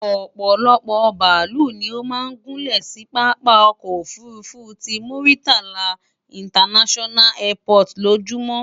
Òpòlopò bàálù ni ó máa ń gúnlè sí pápá okoò òfurufú ti Muritala International Airport lójúmó.